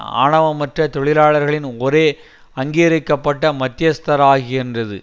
ஆவணமற்ற தொழிலாளர்களின் ஒரே அங்கீகரிக்க பட்ட மத்தியஸ்தராக்கின்றது